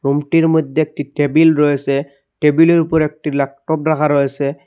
রুমটির মধ্যে একটি টেবিল রয়েসে টেবিলের উপর একটি ল্যাপটপ রাখা রয়েসে।